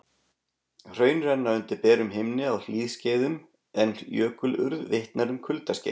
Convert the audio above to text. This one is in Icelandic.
Hraun renna undir berum himni á hlýskeiðum en jökulurð vitnar um kuldaskeið.